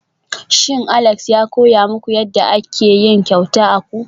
Shin Alex ya koya muku yadda ake yin kyauta akwu?